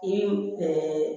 I